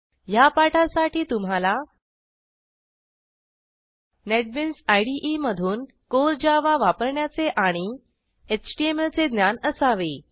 ह्या पाठासाठी तुम्हाला नेटबीन्स इदे मधून कोर जावा वापरण्याचे आणि 000045 000041 एचटीएमएल चे ज्ञान असावे